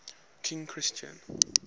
king christian